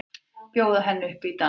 Bjóða henni upp í dans!